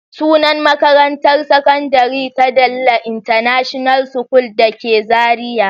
Sunan makarantar sakandare ta Dalle international school da ke Zariya.